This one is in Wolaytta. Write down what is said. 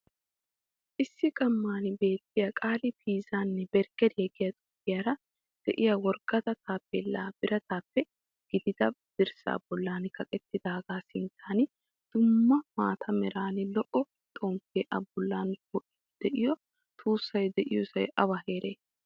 Issi qamman beettiya qali pizzanne barggariyaa giya xuufiyaara de'iya worqqata tappellay biratappe giigida dirssa bollan kaqettidaga sinttan dumma maataa meraynne lo"o xomppe a bollan po'idi de'iyo tussay diyosay awa heere?